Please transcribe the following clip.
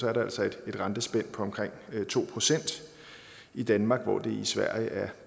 er der altså et rentespænd på omkring to procent i danmark hvor det i sverige er